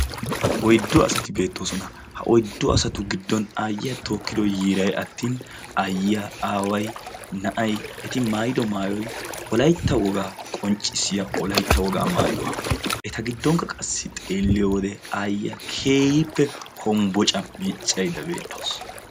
Oyddu asati beetoosona, ha oyddu asatu giddon aayiya tookido yiiray attin aayiya, aaway, na'ay, eti maaydo maayoy wolaytta wogaa qonccissiya Wolaytta wogaa maayuwa. eta giddonkka xeeliyode aayiya keehippe hombocca miiccayidda beettawus.